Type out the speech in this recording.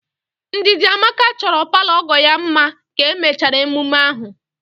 Ndidamaka chọrọ palọ ọgọ ya mma ka emechara emume ahụ